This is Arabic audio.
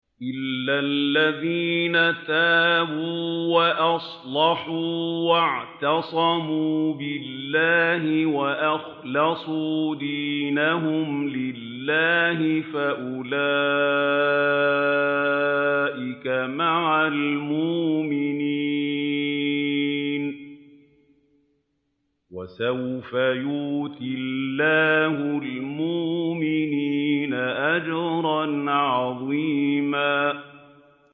إِلَّا الَّذِينَ تَابُوا وَأَصْلَحُوا وَاعْتَصَمُوا بِاللَّهِ وَأَخْلَصُوا دِينَهُمْ لِلَّهِ فَأُولَٰئِكَ مَعَ الْمُؤْمِنِينَ ۖ وَسَوْفَ يُؤْتِ اللَّهُ الْمُؤْمِنِينَ أَجْرًا عَظِيمًا